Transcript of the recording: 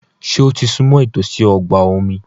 Ṣé ó ti súnmọ́ ìtòsí ọgbà omi?